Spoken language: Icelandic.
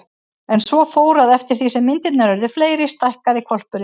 En svo fór, að eftir því sem myndirnar urðu fleiri stækkaði hvolpurinn.